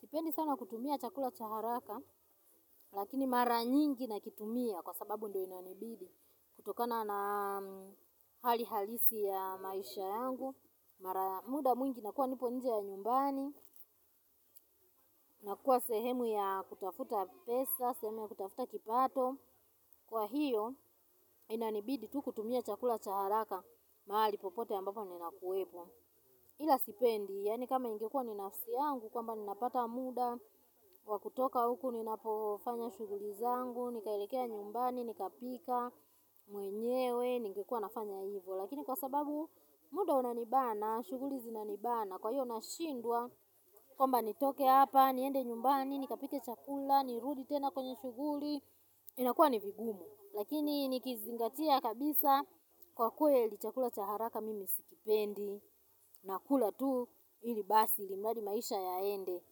Sipendi sana kutumia chakula chaharaka, lakini mara nyingi nakitumia kwa sababu ndio inanibidi. Kutokana na hali halisi ya maisha yangu, mara muda mwingi nakua nipo nje ya nyumbani, nakua sehemu ya kutafuta pesa, sehemu ya kutafuta kipato. Kwa hiyo, inanibidi tu kutumia chakula chaharaka, mahali popote ambapo nina kuwepo. Ila sipendi, yaani kama ingekua ni nafsi yangu kwa mba ninapata muda, kwa kutoka huku ninapofanya shughuli zangu, nikaelekea nyumbani, nika pika mwenyewe, ningekua nafanya hivo. Lakini kwa sababu muda unanibana, shuguli zinanibana, kwa hiyo nashindwa, kwa mba nitoke hapa, niende nyumbani, nika pike chakula, nirudi tena kwenye shuguli, inakuwa ni vigumu. Lakini nikizingatia kabisa kwa kweli chakula chaharaka mimi sikipendi na kula tu ili basi ili mradi maisha yaende.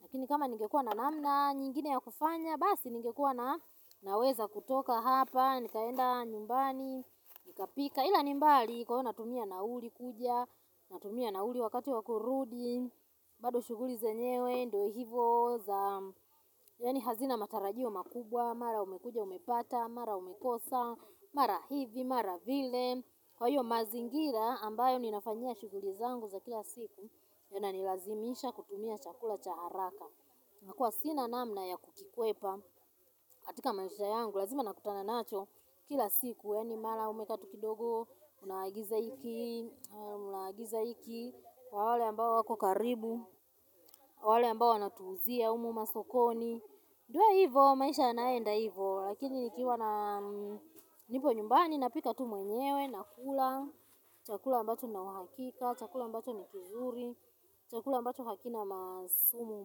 Lakini kama ningekua na namna nyingine ya kufanya basi ningekua na naweza kutoka hapa nikaenda nyumbani nikapika. Ila nimbali kwa natumia nauli kuja, natumia nauli wakati wakurudi, bado shuguli zenyewe ndo hivo za, yaani hazina matarajio makubwa, mara umekuja umepata, mara umekosa, mara hivi, mara vile. Kwa hiyo mazingira ambayo ninafanyia shuguli zangu za kila siku, ya na nilazimisha kutumia chakula cha haraka. Nakua sina namna ya kukikwepa, katika maisha yangu, lazima nakutana nacho kila siku, yaani mara umekaa tu kidogo unaagiza hiki, unaagiza hiki kwa wale ambao wako karibu, wale ambao wanatuuzia, humu masokoni. Ndio hivo, maisha yanaenda hivo, lakini nikiwa na nipo nyumbani, napika tu mwenyewe, nakula, chakula ambacho nina uhakika, chakula ambacho nikizuri, chakula ambacho hakina masumu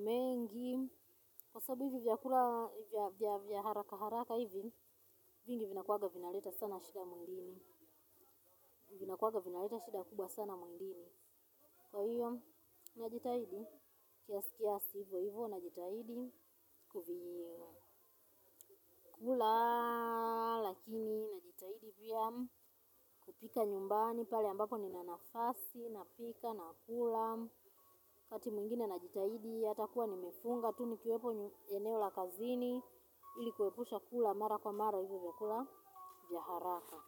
mengi. Kwa sababu hivi vyakula vya haraka haraka hivi, vingi vina kuwanga vinaleta sana shida mwilini. Vina kuwanga vinaleta shida kubwa sana mwilini. Kwa hiyo, najitahidi. Kiasi kiasi, hivyo, hivyo, najitahidi kuvikula, lakini najitahidi pia kupika nyumbani, pale ambako ninanafasi napika, nakula wakati mwingine najitahidi, hata nikuwa nimefunga tu nikiwepo eneo la kazini ili kuepusha kula, mara kwa mara, hivyo, vyakula vya haraka.